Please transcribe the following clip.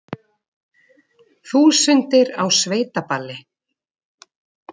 Þúsundir á sveitaballi